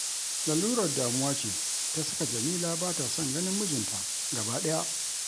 Lalurar damuwa ce ta saka Jamila ba ta son ganin mijinta gabaɗaya